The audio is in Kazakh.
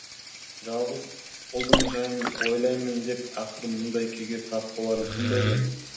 жалғыз ұлдың жайын ойлаймын деп ақыры мұндай күйге тап боларын кім білген